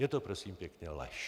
Je to prosím pěkně lež!